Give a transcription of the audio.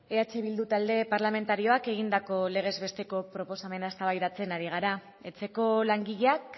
eh bildu talde parlamentarioak egindako legez besteko proposamena eztabaidatzen ari gara etxeko langileak